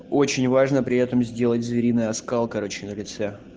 очень важно при этом сделать звериный оскал короче на лице